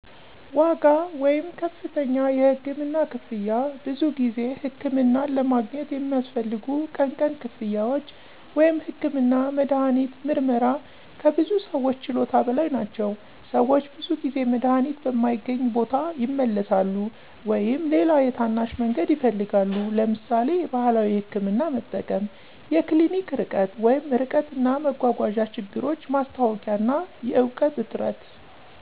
ዋጋ (ከፍተኛ የህክምና ክፍያ) ብዙ ጊዜ ሕክምናን ለማግኘት የሚያስፈልጉ ቀን ቀን ክፍያዎች (ህክምና፣ መድሃኒት፣ ምርመራ) ከብዙ ሰዎች ችሎታ በላይ ናቸው። - ሰዎች ብዙ ጊዜ መድሃኒት በማይገኝ ቦታ ይመለሳሉ ወይም ሌላ የታናሽ መንገድ ይፈልጋሉ (ለምሳሌ የባህላዊ ሕክምና መጠቀም)። የክሊኒክ ርቀት (ርቀት እና መጓጓዣ ችግሮች ማስታወቂያ እና የእውቀት እጥረት